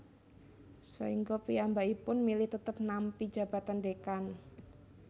Saengga piyambakipun milih tetep nampi jabatan Dekan